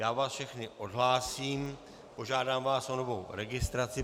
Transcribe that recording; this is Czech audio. Já vás všechny odhlásím, požádám vás o novou registraci.